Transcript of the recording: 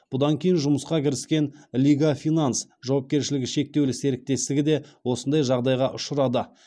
бұдан кейін жұмысқа кіріскен лига финанс жауапкершілігі шектеулі серіктестігі де осындай жағдайға ұшырады